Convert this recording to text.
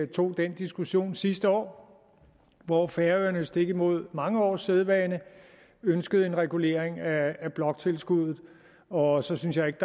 tog den diskussion sidste år hvor færøerne stik imod mange års sædvane ønskede en regulering af bloktilskuddet og så synes jeg ikke